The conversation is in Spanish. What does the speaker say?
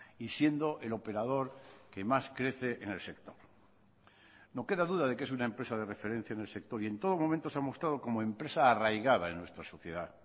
y siendo el operador que más crece en el sector no queda duda de que es una empresa de referencia en el sector y en todo momento se ha mostrado como empresa arraigada en nuestra sociedad